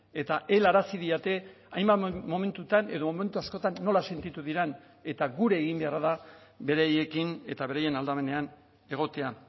eta helarazi didate hainbat momentutan edo momentu askotan nola sentitu diren eta gure egin beharra da beraiekin eta beraien aldamenean egotea